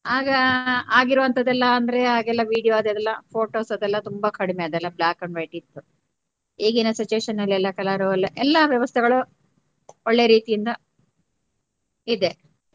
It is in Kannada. ಆಗ ಆಗಿರುವಂತದೆಲ್ಲ ಅಂದ್ರೆ ಆಗ ಎಲ್ಲಾ video ಅದೆಲ್ಲಾ photos ಅದೆಲ್ಲಾ ಎಲ್ಲಾ ತುಂಬಾ ಕಡಿಮೆ ಅದೆಲ್ಲಾ black and white ಇತ್ತು ಈಗಿನ situation ಅಲ್ಲಿ ಕೆಲವರು ಎಲ್ಲಾ ವ್ಯವಸ್ಥೆಗಳು ಒಳ್ಳೆ ರೀತಿಯಿಂದ ಇದೆ.